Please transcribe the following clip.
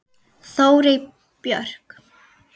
Þórey Björk.